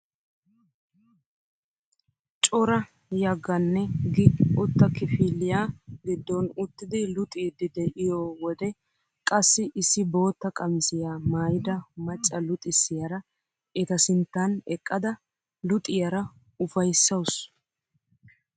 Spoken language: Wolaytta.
Cora yeganne gi=uutta kifiliyaa giddon uttidi luxxiidi de'iyoo wode qassi issi bootta qamisiyaa maayida macca luxxisiyaara eta sinttan eqqada luxxiyaara ufayssawus!